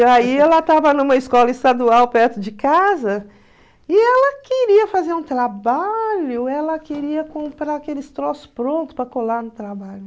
E aí ela estava numa escola estadual perto de casa e ela queria fazer um trabalho, ela queria comprar aqueles troços prontos para colar no trabalho.